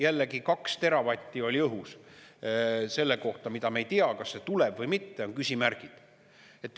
Jällegi 2 teravatti oli õhus, selle kohta, mida me ei tea, kas see tuleb või mitte, on küsimärgid.